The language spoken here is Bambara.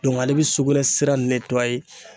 ale bɛ sugunɛ sira